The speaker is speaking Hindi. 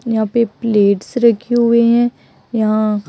यहां पर प्लेट्स रखे हुए हैं यहां--